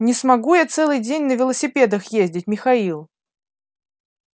не смогу я целый день на велосипедах ездить михаил